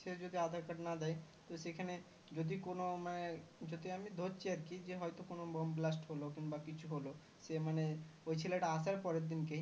সে যদি aadhar card না দেয় সেখানে যদি কোনো মানে যদি আমি ধরছি আর কি যে হয় তো কোনো বোমা blast হলো কিন্বা কিছু হলো সে মানে ওই ছেলেটা আসার পরের দিন কেই